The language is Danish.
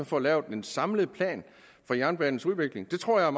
får lavet en samlet plan for jernbanens udvikling det tror jeg